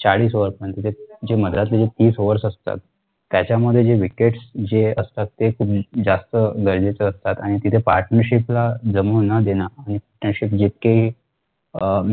होत नाही तिथे जे तीस overs असतात त्याच्या मध्ये जे wickets जे असतात ते जास्त गरजेचे असतात आणि तिथे partnership ला जमवून न देणं अं